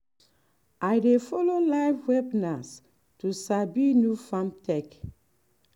i dey follow live webinars to sabi new farm tech.